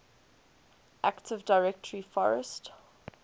active directory forest